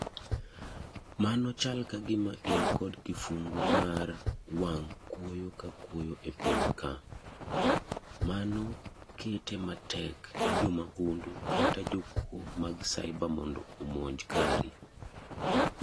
mano chal kagima in kod kifungu mar wang' kwoyo ka kwoyo epiny ka. Mano kete matek ni jomahundu kata jokuo mag ciber mondo omonj kari